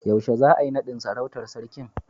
Yaushe za'a yi nadin sarautan sarkin?